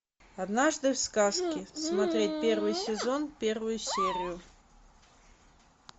однажды в сказке смотреть первый сезон первую серию